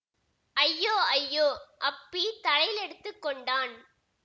அய்யோ அய்யோ அப்பி தலையிலடித்துக் கொண்டான்